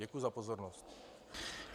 Děkuji za pozornost.